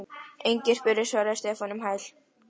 Engin spurning svaraði Stefán um hæl.